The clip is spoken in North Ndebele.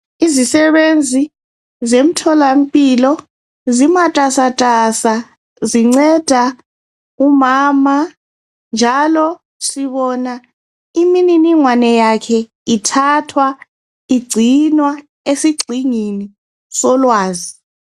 izisebenzi zemtholampilo zimatasatasa zinceda umama njalo sibona imininingwane yakhe ithathwa igcinwa esigxingini solwazi